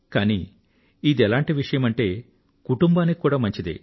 కానీ ఇదెలాంటి విషయమంటే కుటుంబానికి కూడా మంచిదే